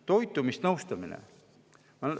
Toitumisnõustamine!